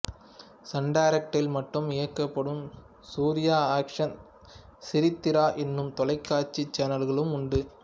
Sun டைரக்ட்டில் மட்டும் இயக்கப்படும் சூர்யா ஆக்சன் சிரித்திரா என்னும் தொலைக்காட்சி சேனல்களும் உண்டு